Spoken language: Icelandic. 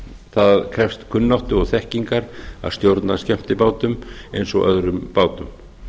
það krefst kunnáttu og þekkingar að stjórna skemmtibátum eins og öðrum bátum